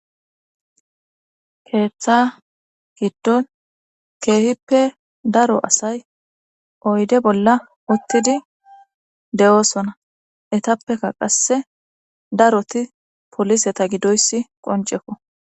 keeththa giddon keehippe daro asay oyde bolla uttidi de7oosona etappeka qasse daroti poliseta gidoyssi qoncekko